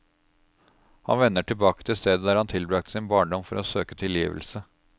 Han vender tilbake til stedet der han tilbragte sin barndom for å søke tilgivelse.